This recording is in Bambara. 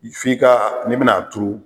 F'i ka n'i bɛna a turu.